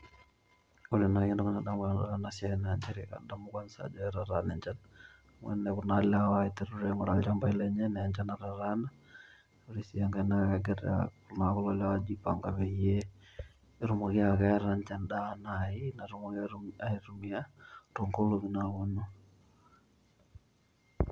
Ore nai entoki nadamu tena siai naa nchere kadamu kwansa ajo etataana enchan . Niaku naa niteru alenoo nchambai lenye amu enchan natataana. Ore sii enkae, kegira iltunganak aijipanga peyie petumoki aaku keeta ninye en'daa naji natumoki aitumia toonkolongi napuonu .